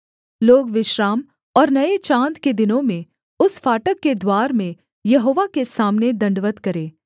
लोग विश्राम और नये चाँद के दिनों में उस फाटक के द्वार में यहोवा के सामने दण्डवत् करें